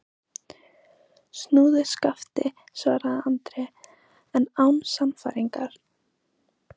Snúðu skafti, svaraði Andri, en án sannfæringar.